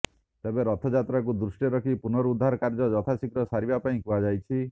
ତେବେ ରଥଯାତ୍ରାକୁ ଦୃଷ୍ଟିରେ ରଖି ପୁନରୁଦ୍ଧାର କାର୍ଯ୍ୟ ଯଥାଶୀଘ୍ର ସାରିବା ପାଇଁ କୁହାଯାଇଛି